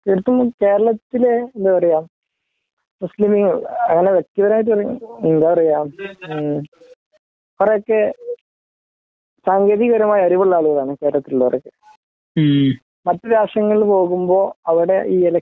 എനിക്കു തോന്നുന്നു കേരളത്തിലെ എന്താ പറയാ മുസ്ലീങ്ങൾ അങ്ങനെ വ്യക്തിപരമായിട്ട് എന്താ പറയാ അവരൊക്കെ സാങ്കേതിക പരമായി അറിവുള്ള ആളുകളാണ് കേരളത്തിൽ ഉള്ളവരൊക്കെ മറ്റ് രാഷ്ട്രങ്ങളെ നോക്കുമ്പോ അവിടെ ഈ എലക്ഷൻ